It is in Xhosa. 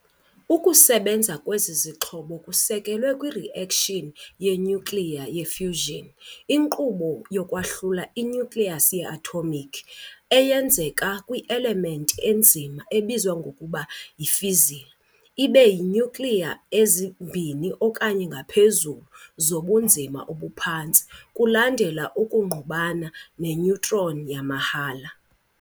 Ukusebenza kwezi zixhobo kusekelwe kwi-reaction ye-nyukliya ye-fission, inkqubo yokwahlula i-nucleus ye-atomic, eyenzeka kwi- elementi enzima ebizwa ngokuba yi-fissile, ibe yi-nuclei ezimbini okanye ngaphezulu zobunzima obuphantsi, kulandela ukungqubana ne- neutron yamahhala.